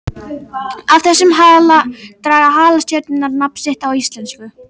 Af þessum hala draga halastjörnurnar nafn sitt á íslensku.